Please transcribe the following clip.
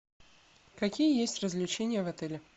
какие есть развлечения в отеле